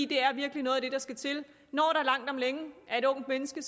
det er virkelig noget af det der skal til når der langt om længe er et ungt menneske